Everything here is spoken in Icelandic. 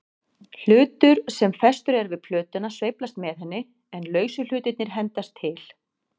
Hlutur sem festur er við plötuna sveiflast með henni, en lausu hlutirnir hendast til.